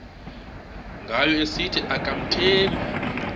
ngayo esithi akamthembi